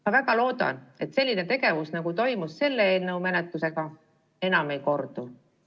Ma väga loodan, et selline tegevus, nagu toimus selle eelnõu menetlusega, enam ei kordu.